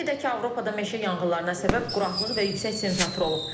Qeyd edək ki, Avropada meşə yanğınlarına səbəb quraqlıq və yüksək temperatur olub.